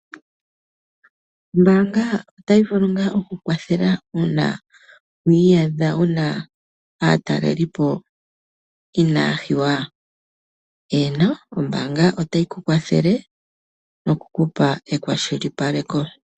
Ombanga ota yi vule nga okukwathela una wiiyadha wuna aataleli po inaya hiwa. Eeno ombanga ota yi kukwathele nokukupa ekwashilipale ko.